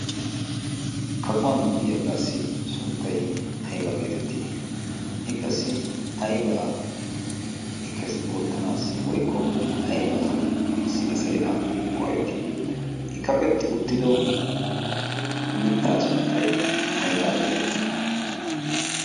kaquwan diyaagaassi sunttai aibaa geetettii i qassi aibaa kke oottanaassi woikko aibaasi asai a go'ettii? i kaqetti uttido mittaa sunttay aybaa geetettii?